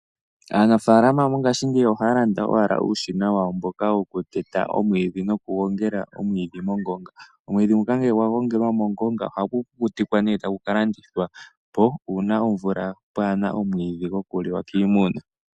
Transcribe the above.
Aanafaalama ngaashingeyi ohaya landa owala uushina wawo mboka wokuteta omwiidhi nokugongela omwiidhi mongonga. Omwiidhi nguka ngele gwa gongelwa mongonga ohagu kukutikwa nduno e tagu ka landithwa po uuna pwaa na omwiidhi gokuliwa kiimuna.